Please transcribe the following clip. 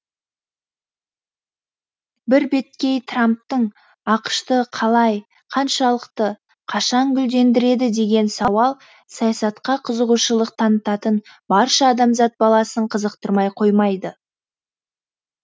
бірбеткей трамптың ақш ты қалай қаншалықты қашан гүлдендіреді деген сауал саясатқа қызығушылық танытатын барша адамзат баласын қызықтырмай қоймайды